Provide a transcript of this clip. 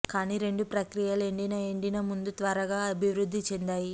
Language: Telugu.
కానీ రెండు ప్రక్రియలు ఎండిన ఎండిన ముందు త్వరగా అభివృద్ధి చెందాయి